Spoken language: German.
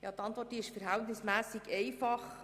Die Antwort ist verhältnismässig einfach.